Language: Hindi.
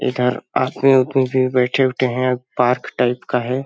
इधर आदमी-वादमी भी बैठे-उठे है पार्क टाइप का है ।